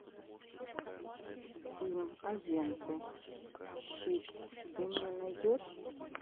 фильм агенты щит ты мне найдешь